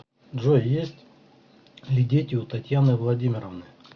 джой есть ли дети у татьяны владимировны